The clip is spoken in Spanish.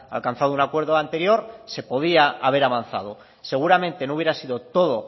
alcanzado un acuerdo anterior se podía haber avanzado seguramente no hubiera sido todo